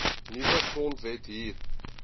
nuwe grondwet hier